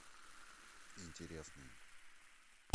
интересные